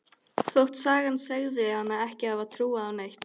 Þótt sagan segði hana ekki hafa trúað á neitt.